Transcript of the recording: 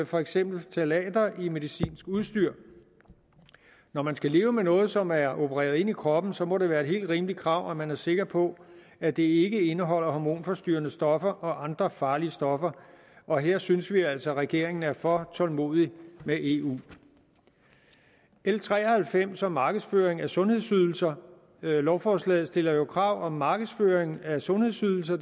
for eksempel ftalater i medicinsk udstyr når man skal leve med noget som er opereret ind i kroppen så må det være et helt rimeligt krav at man er sikker på at det ikke indeholder hormonforstyrrende stoffer og andre farlige stoffer og her synes vi altså at regeringen er for tålmodig med eu l tre og halvfems handler om markedsføring af sundhedsydelser lovforslaget stiller jo krav om at markedsføring af sundhedsydelser